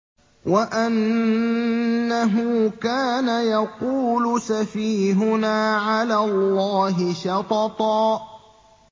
وَأَنَّهُ كَانَ يَقُولُ سَفِيهُنَا عَلَى اللَّهِ شَطَطًا